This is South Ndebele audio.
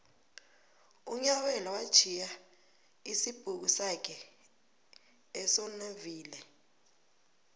unyabela watjhiya isibhuku sakhe esonaville